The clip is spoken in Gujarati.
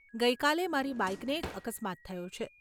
ગઇ કાલે, મારી બાઈકને એક અક્સમાત થયો છે.